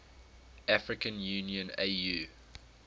african union au